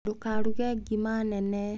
Ndũkaruge ngima nene.